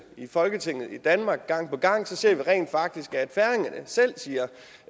i folketinget i danmark gang på gang ser vi rent faktisk at færingerne selv siger